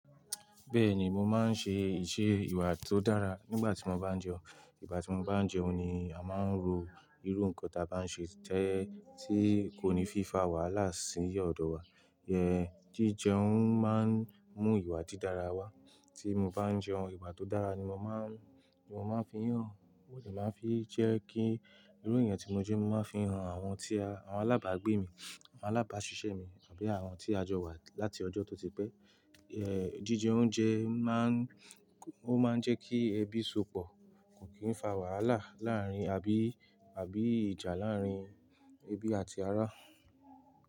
Bẹ́ẹ̀ni, mo máa ń ṣe ìṣe ìwà tó dára nígbà tí mo bá ń jẹun. Nígbà tí mo bá ń jẹun ni a máa ń ro irú nǹkan tí a bá ń ṣe tẹ́ẹ́ tí kò ní fi fa wàhálà sí ọ̀dọ̀ wa. Ẹ̀ jíjẹun máa ń mú ìwà dídára wá. Tí mo bá ń jẹun, ìwà tó dára ni mo máa ń, ni mo máa ń fi hàn. Ó lè máa fi jẹ́ kí irú èèyàn tí mo jẹ́ mó máa fi hàn àwọn tí a, àwọn alábàágbé mi, àwọn alábáṣiṣẹ́ mi àbí àwọn tí a jọ wà láti ọjọ́ tó ti pẹ́. Ẹ̀ jíjẹ oúnjẹ máa ń, ó máa ń jẹ́ kí ebi sopọ̀, kò kí ń fa wàhálà láàárín abí, àbí ìjà láàárín ẹbí àti ará.